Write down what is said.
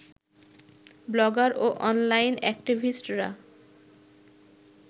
blogger ও online অ্যাক্টিভিস্টরা